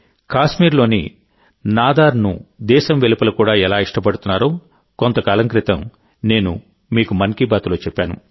కాశ్మీర్లోని నాదరూనుదేశం వెలుపల కూడా ఎలా ఇష్టపడుతున్నారో కొంతకాలం క్రితం నేను మీకు మన్ కీ బాత్లో చెప్పాను